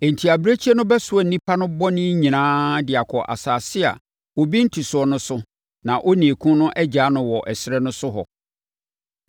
Enti abirekyie no bɛsoa nnipa no bɔne nyinaa de akɔ asase a obi nte so no so na onii no agyaa no wɔ ɛserɛ so hɔ.